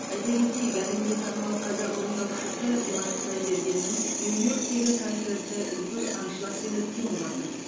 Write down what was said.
айта кетейік әлемге танымал қазақ орындаушысы димаш құдайбергеннің нью йорктегі концерті үлкен аншлагпен өткен болатын